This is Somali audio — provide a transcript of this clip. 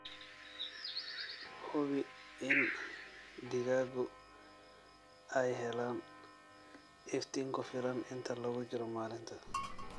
Hubi in digaaggu ay helaan iftiin ku filan inta lagu jiro maalinta.